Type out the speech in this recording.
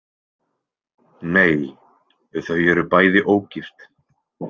Nei, þau eru bæði ógift.